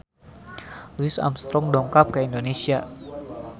Louis Armstrong dongkap ka Indonesia